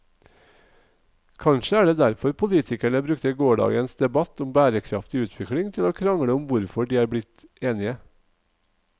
Kanskje er det derfor politikerne brukte gårsdagens debatt om bærekraftig utvikling til å krangle om hvorfor de er blitt enige.